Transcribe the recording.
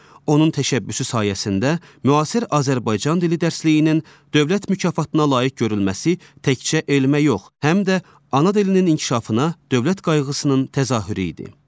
Onun təşəbbüsü sayəsində müasir Azərbaycan dili dərsliyinin dövlət mükafatına layiq görülməsi təkcə elmə yox, həm də ana dilinin inkişafına dövlət qayğısının təzahürü idi.